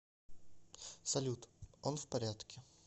салют он в порядке